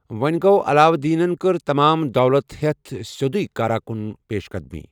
وو٘نہِ گو، علاؤالدینن كٕر تمام دولت ہٮ۪تھ سِیوٚدُیہ کارا کُن پیش قدمی ۔